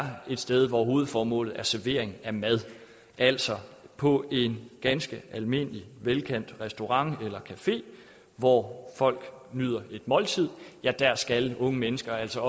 et sted hvor hovedformålet er servering af mad altså på en ganske almindelig velkendt restaurant eller café hvor folk nyder et måltid der skal unge mennesker altså